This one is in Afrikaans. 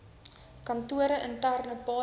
kantore interne paaie